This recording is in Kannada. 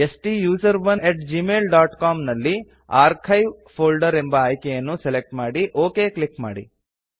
ಸ್ಟುಸೆರೋನ್ ಅಟ್ gmailಸಿಒಎಂ ನಲ್ಲಿ ಆರ್ಕೈವ್ಸ್ ಫೋಲ್ಡರ್ ಎಂಬ ಅಯ್ಕೆಯನ್ನು ಸೆಲೆಕ್ಟ್ ಮಾಡಿ ಒಕ್ ಕ್ಲಿಕ್ ಮಾಡಿ